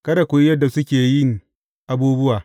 Kada ku yi yadda suke yin abubuwa.